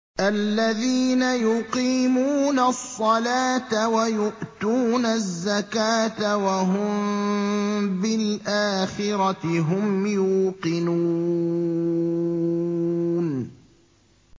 الَّذِينَ يُقِيمُونَ الصَّلَاةَ وَيُؤْتُونَ الزَّكَاةَ وَهُم بِالْآخِرَةِ هُمْ يُوقِنُونَ